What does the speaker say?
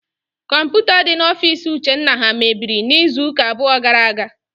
Kọmputa dị n'ofiisi ụchenna ha mebiri n'izuụka abụọ gara aga.